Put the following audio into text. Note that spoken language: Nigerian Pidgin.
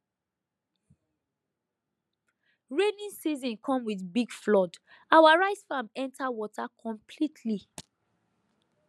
rainy season come with big flood our rice farm enter water completely